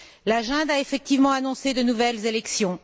La junte a effectivement annoncé de nouvelles élections.